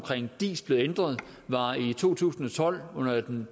diis blev ændret var i to tusind og tolv under den